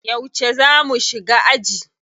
Yauce za mu shiga aji?